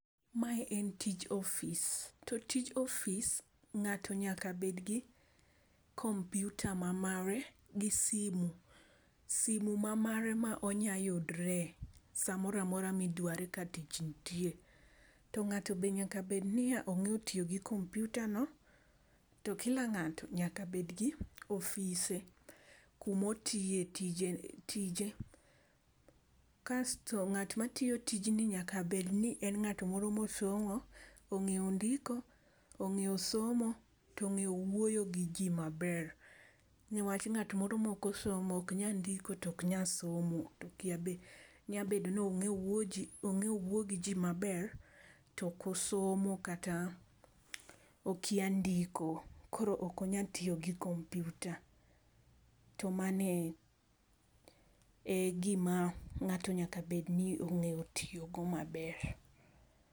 Ma en tich ofis, toi tij office ng'ato nyaka bed gi kompyuta ma mare gi simo, simu ma mare ma onya yudre sa ma moro amora mi dware ka tich nitie, to ng'ato nyaka bed ni onge tiyo gin kompyuta no to kila ng'ato obed gi ofise kum ma otiye tijene tije kasto ngama tiyo tijni nyaka bed ni en ng'at moro ma osomo, ong'eyo ndiko, ongeyo somo to ongeyo wuoyo gi ji ma ber . Nikech ng'at ma ok osomo ok nya ndiko to ok nya somo nyabedo ni ongeyo wuoyo gi ji ma ber to ok osomo kata okia ndiko koro ok onya tiyo gi kompyuta. To mano e gi ma ng'ato nyaka bed ni onge tiyo go ma ber.